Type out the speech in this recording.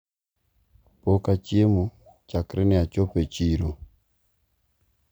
pok achiemo chakre ne achop e chiro